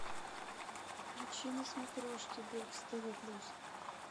включи на смотрешке бокс тв плюс